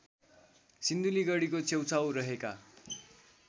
सिन्धुलीगढीको छेउछाउ रहेका